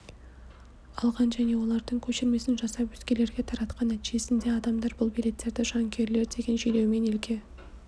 алған және олардың көшірмесін жасап өзгелерге таратқан нәтижесінде адамдар бұл билеттерді жанкүйерлер деген желеумен елге